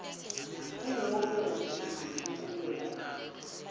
kunobe ngusiphi sikhungo